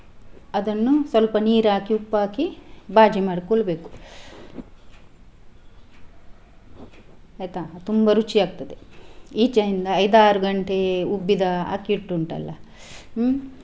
ಅದನ್ನು ಸ್ವಲ್ಪ ನೀರ್ ಹಾಕಿ ಉಪ್ಪು ಹಾಕಿ बाजी ಮಾಡ್ಕೊಳ್ಬೇಕು ಆಯ್ತಾ ತುಂಬಾ ರುಚಿ ಆಗ್ತದೆ ಈಚೆಯಿಂದ ಐದಾರು ಗಂಟೆ ಉಬ್ಬಿದ ಅಕ್ಕಿ ಹಿಟ್ಟು ಉಂಟಲ್ಲ ಹ್ಮ್‌.